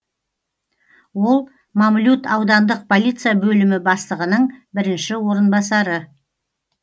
ол мамлют аудандық полиция бөлімі бастығының бірінші орынбасары